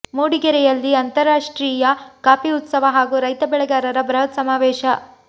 ಮೂಡಿಗೆರೆಯಲ್ಲಿ ಅಂತರಾಷ್ಟ್ರೀಯ ಕಾಫಿ ಉತ್ಸವ ಹಾಗೂ ರೈತ ಬೆಳೆಗಾರರ ಬೃಹತ್ ಸಮಾವೇಶ